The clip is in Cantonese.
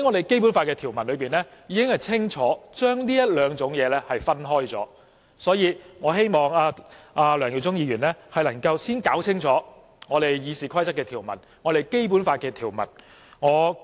《基本法》條文已清楚把這兩種情況分開，因此，我希望梁耀忠議員能夠弄清楚《議事規則》和《基本法》的條文。